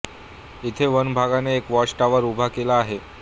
इथे वनविभागाने एक वॉच टॉवर उभा केला आहे